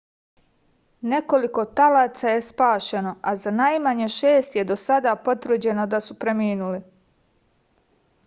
nekoliko talaca je spašeno a za najmanje šest je do sada potvrđeno da su preminuli